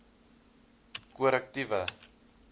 korrektiewe